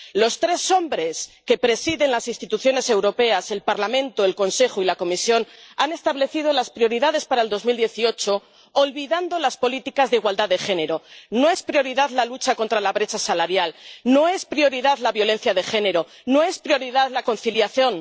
Los tres hombres que presiden las instituciones europeas —el Parlamento, el Consejo y la Comisión— han establecido las prioridades para 2018 olvidando las políticas de igualdad de género no es prioridad la lucha contra la brecha salarial, no es prioridad la violencia de género, no es prioridad la conciliación.